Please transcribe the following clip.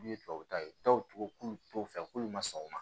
N'u ye tubabu ta k'ulu t'u fɛ k'olu ma sɔn u ma